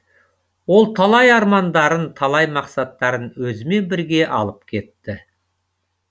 ол талай армандарын талай мақсаттарын өзімен бірге алып кетті